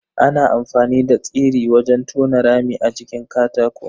Ana amfani da tsiri wajen tona rami a jikin katako.